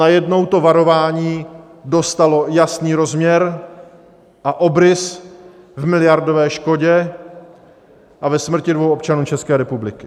Najednou to varování dostalo jasný rozměr a obrys v miliardové škodě a ve smrti dvou občanů České republiky.